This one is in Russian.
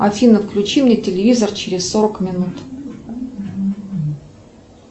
афина включи мне телевизор через сорок минут